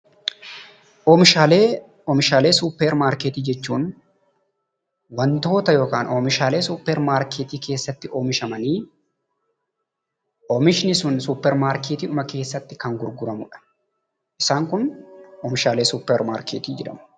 Oomishaalee suuppar maarkeettii jechuun wantoota yookaan oomishaalee suuppar maarkeettii keessatti oomishamanii, oomishni sun suuppar maarkeettiidhuma keessatti kan gurguramudha. Isaan kun oomishaalee suuppar maarkeettii jedhamu.